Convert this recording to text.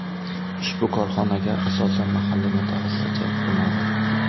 Ushbu korxonaga asosan mahalliy mutaxassislar jalb qilinadi.